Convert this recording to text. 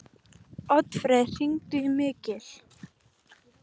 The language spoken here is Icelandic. Oddfreyr, hringdu í Mikil.